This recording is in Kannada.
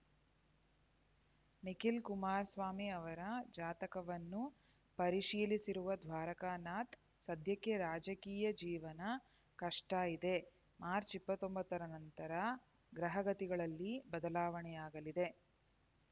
ನಿಖಿಲ್ ಕುಮಾರಸ್ವಾಮಿ ಅವರ ಜಾತಕವನ್ನು ಪರಿಶೀಲಿಸಿರುವ ದ್ವಾರಕನಾಥ್ ಸದ್ಯಕ್ಕೆ ರಾಜಕೀಯ ಜೀವನ ಕಷ್ಟ ಇದೆ ಮಾರ್ಚ್ ಇಪ್ಪತ್ತೊಂಬತ್ತರ ನಂತರ ಗ್ರಹಗತಿಗಳಲ್ಲಿ ಬದಲಾವಣೆಯಾಗಲಿದೆ